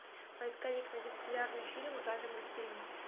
поисковик найди популярные фильмы в жанре мультфильм